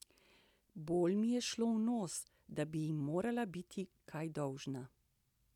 Bolj mi je šlo v nos, da bi ji morala biti kaj dolžna.